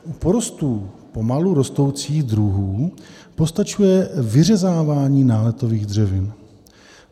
U porostů pomalu rostoucích druhů postačuje vyřezávání náletových dřevin.